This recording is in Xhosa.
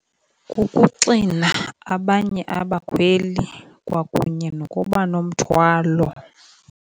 Kukuxina abanye abakhweli kwakunye nokuba nomthwalo.